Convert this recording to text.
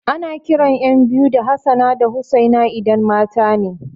Ana kiran ƴan biyu da Hassana da Hussaina idan matane